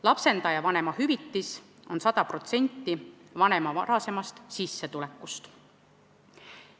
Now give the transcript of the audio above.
Lapsendaja vanemahüvitis on 100% vanema varasemast sissetulekust.